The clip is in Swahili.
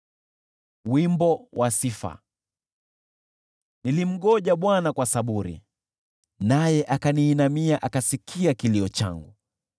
Nilimngoja Bwana kwa saburi, naye akaniinamia, akasikia kilio changu.